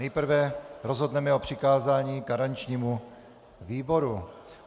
Nejprve rozhodneme o přikázání garančnímu výboru.